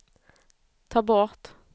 ta bort